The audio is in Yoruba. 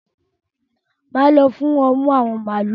Máa lọ fún ọmú ạ̀wọn màálu.